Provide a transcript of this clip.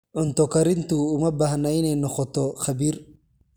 Cunto karintu uma baahna inay noqoto khabiir.